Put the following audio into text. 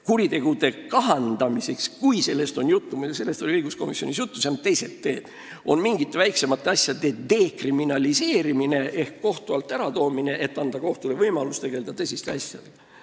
Kuritegude arvu kahandamiseks – meil oli sellest juttu ka õiguskomisjonis – on teised teed: mingite väiksemate asjade dekriminaliseerimine ehk kohtu alt äratoomine, et anda kohtule võimalus tegelda tõsiste asjadega.